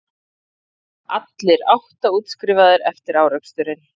Allir átta útskrifaðir eftir áreksturinn